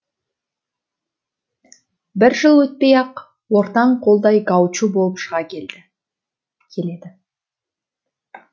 бір жыл өтпей ақ ортаң қолдай гаучо болып шыға келеді